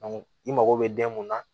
i mago bɛ den mun na